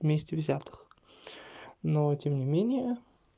вместе взятых но тем не менее